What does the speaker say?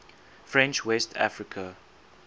french west africa